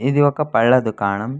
ఇది ఒక పళ్ళ దుకానం --